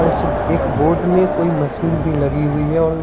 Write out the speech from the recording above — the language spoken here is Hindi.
बड़ से एक बोर्ड में कोई मशीन भी लगी हुई है और --